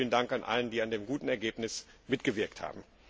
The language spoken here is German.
Nochmals vielen Dank an alle, die an dem guten Ergebnis mitgewirkt haben.